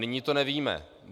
Nyní to nevíme.